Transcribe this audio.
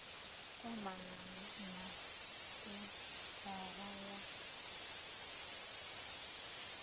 kwamana na senthara ya dti